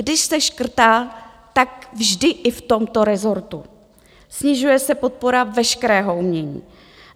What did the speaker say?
Když se škrtá, tak vždy i v tomto resortu, snižuje se podpora veškerého umění.